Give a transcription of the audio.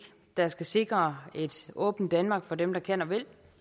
der skal sikre et åbent danmark for dem der kan og vil